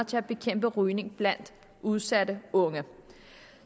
til at bekæmpe rygning blandt udsatte unge